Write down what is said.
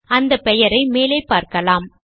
அந்த பெயரை மேலே பார்க்கலாம்